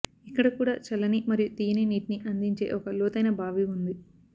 ఇక్కడ కూడా చల్లని మరియు తియ్యని నీటిని అందించే ఒక లోతైన బావి ఉంది